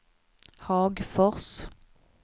Hagfors